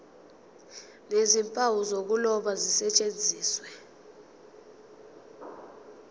nezimpawu zokuloba zisetshenziswe